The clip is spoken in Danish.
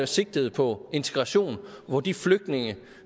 sigtede på integration hvor de flygtninge